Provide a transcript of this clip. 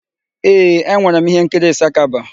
Ee, e nwere m íhénkiri Ịsakaba.